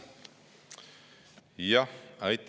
Aitäh!